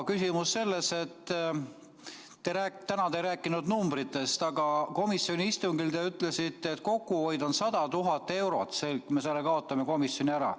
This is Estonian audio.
Küsimus on selles, et täna te ei rääkinud numbritest, aga komisjoni istungil te ütlesite, et kokkuhoid on 100 000 eurot, kui me kaotame selle komisjoni ära.